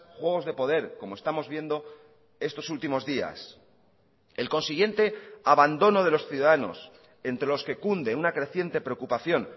juegos de poder como estamos viendo estos últimos días el consiguiente abandono de los ciudadanos entre los que cunde una creciente preocupación